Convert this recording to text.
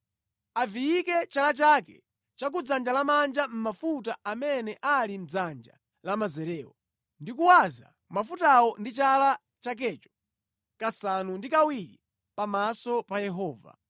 aviyike chala chake cha ku dzanja lamanja mʼmafuta amene ali mʼdzanja lamanzerewo, ndi kuwaza mafutawo ndi chala chakecho kasanu ndi kawiri pamaso pa Yehova.